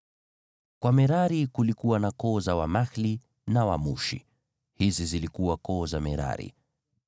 Kwa Merari kulikuwa na koo za Wamahli na Wamushi; hizi zilikuwa koo za Merari.